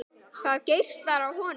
Það geislar af honum.